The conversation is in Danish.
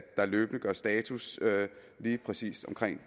der løbende gøres status lige præcis om